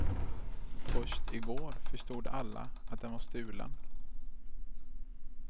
Först i går förstod alla att den var stulen.